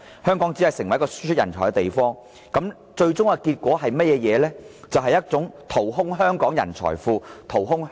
香港只會成為一個輸出人才的地方，最終結果是淘空香港的人才庫和經濟。